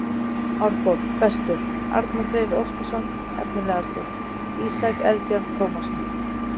Árborg: Bestur: Arnar Freyr Óskarsson Efnilegastur: Ísak Eldjárn Tómasson